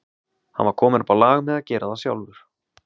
Hann var kominn upp á lag með að gera það sjálfur.